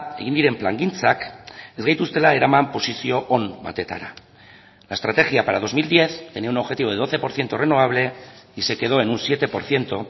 egin diren plangintzak ez gaituztela eraman posizio on batetara la estrategia para dos mil diez tenía un objetivo de doce por ciento renovable y se quedó en un siete por ciento